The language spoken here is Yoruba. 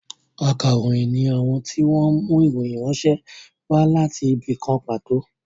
Ákàròyìn ni àwọn tí wọn mú ìròyìn ránṣẹ́ wá láti ibì kan pàtó